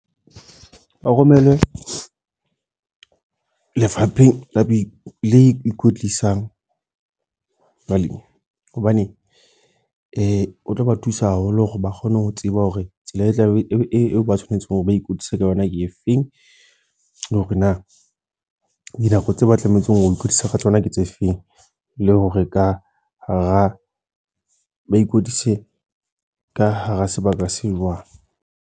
Ba romelwe, lefapheng la bo le ikwetlisang, balemi. Hobane o tlo ba thusa haholo hore ba kgone ho tseba hore tsela e tlabe e ba tshwanetse hore ba ikwetlise ka yona ke efeng. Le hore na dinako tseo ba tlametse ho ikwetlisa ka tsona ke tse feng. Le hore ka hara ba ikwetlise ka hara sebaka se jwang.